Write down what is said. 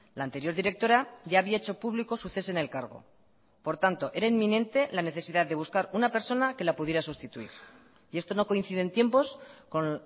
la anterior directora ya había hecho público su cese en el cargo por tanto era inminente la necesidad de buscar una persona que la pudiera sustituir y esto no coincide en tiempos con